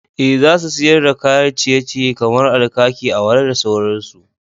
Eh, za su siyar da kayan ciye-ciye kamar alkaki, awara da sauransu.